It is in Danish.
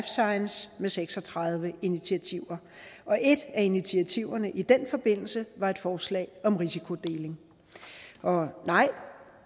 science med seks og tredive initiativer og et af initiativerne i den forbindelse var et forslag om risikodeling og nej